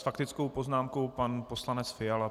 S faktickou poznámkou pan poslanec Fiala.